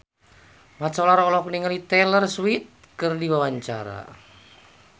Mat Solar olohok ningali Taylor Swift keur diwawancara